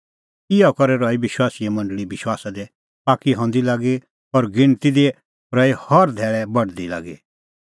इहअ करै रही विश्वासीए मंडल़ी विश्वासा दी पाक्की हंदी लागी और गिणती दी रही हर धैल़ै बढदी लागी